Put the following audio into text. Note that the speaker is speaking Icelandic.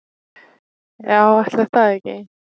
"""Já, ætli það ekki."""